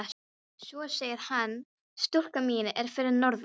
Svo segir hann: Stúlkan mín er fyrir norðan.